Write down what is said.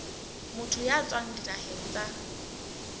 motho ya tswang dinaheng tsa